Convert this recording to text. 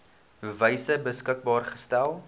wyse beskikbaar gestel